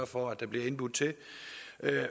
for at der bliver indbudt til